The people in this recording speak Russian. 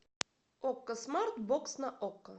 окко смарт бокс на окко